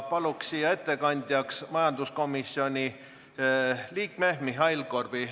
Palun siia ettekandjaks majanduskomisjoni liikme Mihhail Korbi.